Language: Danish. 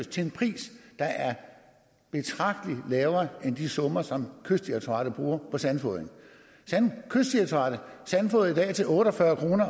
til en pris der er betragtelig lavere end de summer som kystdirektoratet bruger på sandfodring kystdirektoratet sandfodrer i dag til otte og fyrre kroner